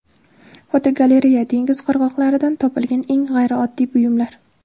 Fotogalereya: Dengiz qirg‘oqlaridan topilgan eng g‘ayrioddiy buyumlar.